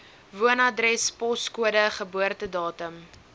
woonadres poskode geboortedatum